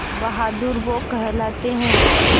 बहादुर वो कहलाते हैं